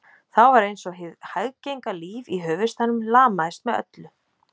Þá var einsog hið hæggenga líf í höfuðstaðnum lamaðist með öllu